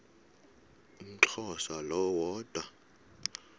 umxhosa lo woda